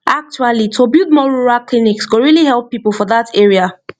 actually to build more rural clinics go really help people for that area